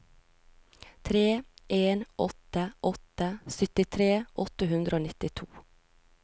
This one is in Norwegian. tre en åtte åtte syttitre åtte hundre og nittito